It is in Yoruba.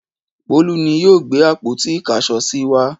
Bólú ni yóò gbé àpótí-ìkáṣọsí wá.